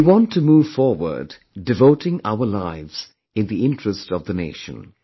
We want to move forward devoting our lives in the interest of the nation